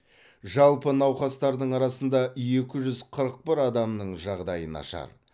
жалпы науқастардың арасында екі жүз қырық бір адамның жағдайы нашар